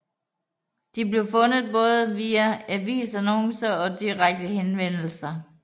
De blev fundet både via avisannoncer og direkte henvendelser